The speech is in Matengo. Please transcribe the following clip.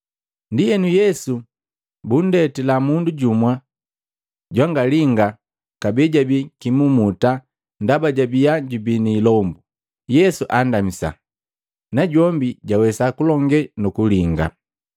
Ndienu Yesu bundetila mundu jumu jwangalinga kabee jabi kimumuta ndaba jabiya jubii ni ilombu. Yesu andamisa najombi jwawesa kulonge nu kulinga.